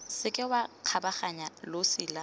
seke wa kgabaganya losi la